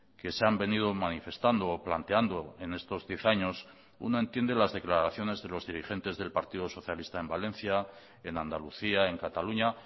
que se han venido manifestando o planteando en estos diez años uno entiende las declaraciones de los dirigentes del partido socialista en valencia en andalucía en cataluña